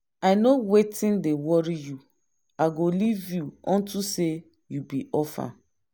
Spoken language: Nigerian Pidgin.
i know wetin dey worry you i go leave you unto say you be orphan.